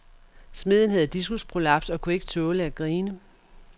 Smeden havde diskusprolaps og kunne ikke tåle at grine.